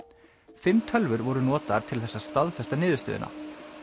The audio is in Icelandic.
fimm tölvur voru notaðar til þess að staðfesta niðurstöðuna